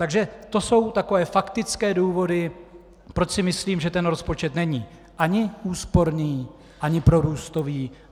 Takže to jsou takové faktické důvody, proč si myslím, že ten rozpočet není ani úsporný ani prorůstový.